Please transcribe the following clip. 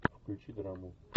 включи драму